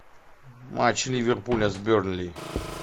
матч ливерпуля с бернли